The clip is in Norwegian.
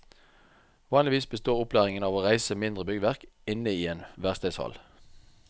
Vanligvis består opplæringen av å reise mindre byggverk inne i en verkstedhall.